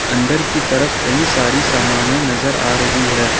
अंदर की तरफ़ कई सारी समाने नजर आ रही हैं।